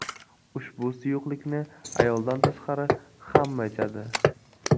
Ushbu suyuqlikni ayoldan tashqari hamma ichadi.